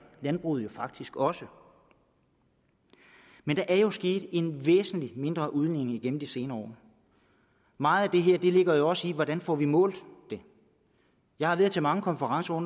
landbruget jo faktisk også men der er jo sket en væsentlig mindre udledning igennem de senere år meget af det her ligger jo også i hvordan vi får det målt jeg har været til mange konferencer